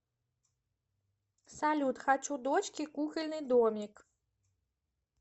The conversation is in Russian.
салют хочу дочке кукольный домик